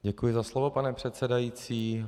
Děkuji za slovo, pane předsedající.